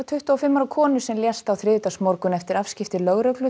tuttugu og fimm ára konu sem lést á þriðjudagsmorgun eftir afskipti lögreglu